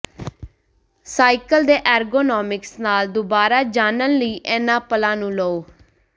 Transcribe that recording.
cycle ਦੇ ergonomics ਨਾਲ ਦੁਬਾਰਾ ਜਾਣਨ ਲਈ ਇਨ੍ਹਾਂ ਪਲਾਂ ਨੂੰ ਲਓ